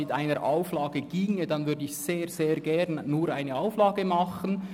Wenn eine Auflage möglich ist, dann würde ich sehr gerne nur eine Auflage beantragen.